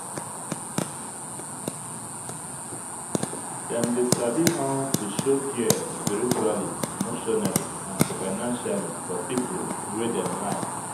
dem de sabi how to show care spiritually emotionally and financially for pipo wey dem like